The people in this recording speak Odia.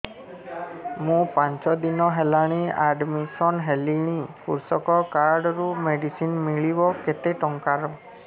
ମୁ ପାଞ୍ଚ ଦିନ ହେଲାଣି ଆଡ୍ମିଶନ ହେଲିଣି କୃଷକ କାର୍ଡ ରୁ ମେଡିସିନ ମିଳିବ କେତେ ଟଙ୍କାର